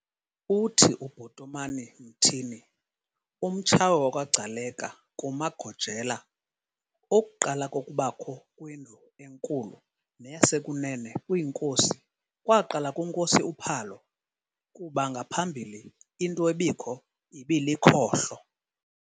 Uthi UBhotomani Mtini, umTshawe wakwaGcaleka kumaGojela, okuqala kokubakho kweNdlu enkulu neyasekunene kwiinkosi kwaqala kunkosi uPhalo, kuba ngaphambili into ebikho ibilikhohlo.